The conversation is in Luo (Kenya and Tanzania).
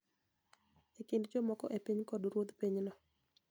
E kind jamoko e piny kod ruodh pinyno